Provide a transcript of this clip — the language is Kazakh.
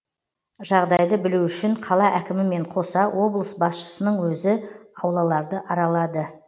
жағдайды білу үшін қала әкімімен қоса облыс басшысының өзі аулаларды аралады